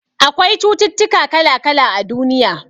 Akwai cututtuka kala-kala a duniya.